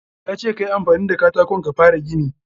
Ya ce ka yi amfani da katakon ka fara gini.